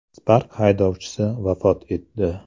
Spark haydovchisi vafot etdi.